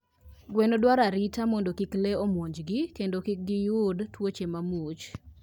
Gwen dwaro arita mondo kik lee omonjgi kendo kik giyud tuoche mamuoch.